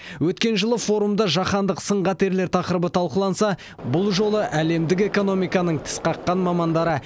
өткен жылы форумда жаһандық сын қатерлер тақырыбы талқыланса бұл жолы әлемдік экономиканың тіс қаққан мамандары